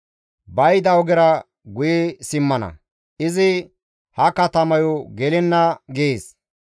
Ba yida ogera guye simmana; izi ha katamayo gelenna› gees.